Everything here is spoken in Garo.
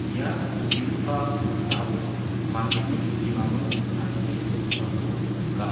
ia nikenggipa noksao mandeni bimango tarie dongipako nika.